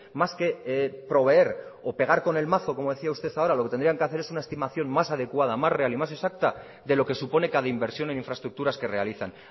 más que proveer o pegar con el mazo como decía usted ahora lo que tendrían que hacer es una estimación más adecuada más real y más exacta de lo que supone cada inversión en infraestructuras que realizan